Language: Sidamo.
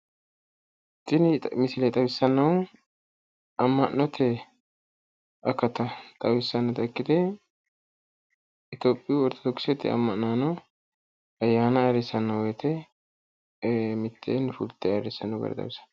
Tini misile xawissannohu amma'note akata xawisannota ikkite itoophiyu oritodokisete amma'nano ayyaana ayyrissanno woyte mitteenni fulte ayyrissanno gara xawissanno.